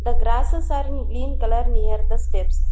the grasses are in green colour near the steps.